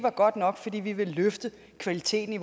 de kan løfte kvaliteten